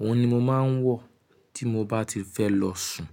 Òhun ni mo máa ń wọ̀ tí mo bá ti fẹ lọ sùn.